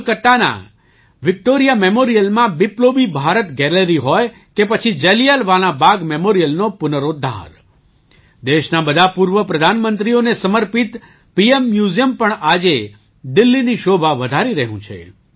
કોલકાતાના વિક્ટૉરિયા મેમોરિયલમાં બિપ્લોબી ભારત ગેલેરી હોય કે પછી જલિયાવાલાં બાગ મેમોરિયલનો પુનરોદ્ધાર દેશના બધા પૂર્વ પ્રધાનમંત્રીઓને સમર્પિત પીએમ મ્યુઝિયમ પણ આજે દિલ્હીની શોભા વધારી રહ્યું છે